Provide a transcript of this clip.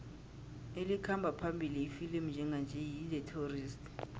elikhamba phambili ifilimu njenganje yi the tourist